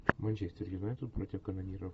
манчестер юнайтед против канониров